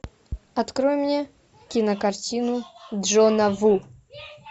открой мне кинокартину джона ву